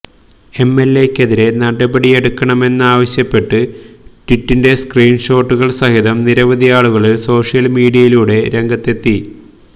എംഎല്എയ്ക്കെതിരെ നടപടിയെടുക്കണമെന്നാവശ്യപ്പെട്ട് ട്വീറ്റിന്റെ സ്ക്രീന്ഷോട്ടുകള് സഹിതം നിരവധിയാളുകള് സോഷ്യല് മീഡിയയിലൂടെ രംഗത്ത് എത്തി